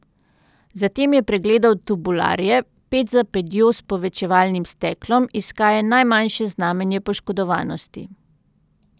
Zatem je pregledal tubularje, ped za pedjo s povečevalnim steklom, iskaje najmanjše znamenje poškodovanosti.